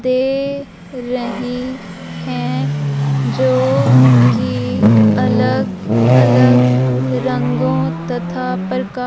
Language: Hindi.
दे रहीं हैं जोकि अलग अलग रंगों तथा प्रका --